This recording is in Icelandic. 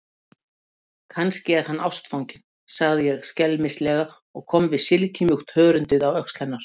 Kannski er hann ástfanginn, sagði ég skelmislega og kom við silkimjúkt hörundið á öxl hennar.